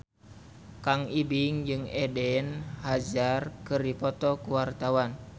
Kang Ibing jeung Eden Hazard keur dipoto ku wartawan